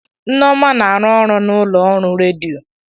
Nneoma na-arụ ọrụ na ụlọ ọrụ redio.